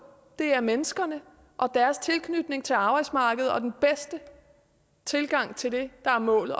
det er menneskerne og deres tilknytning til arbejdsmarkedet og den bedste tilgang til det der er målet